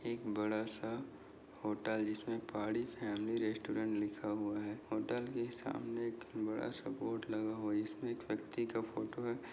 एक बडासा होटल जिसमे पहाडी फॅमिली रेस्टोरंट लिखा हुआ है होटल के सामने एक बडा सा बोर्ड लगा हुआ इसमे एक व्यक्ती का फोटो है।